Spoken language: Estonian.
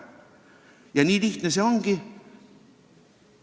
Ja nii lihtne see ongi!